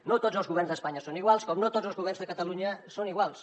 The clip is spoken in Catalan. no tots els governs d’espanya són iguals com no tots els governs de catalunya són iguals